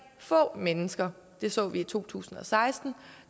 få mennesker det så vi i to tusind og seksten